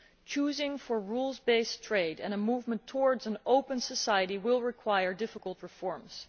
Choosing rules based trade and a movement towards an open society will require difficult reforms.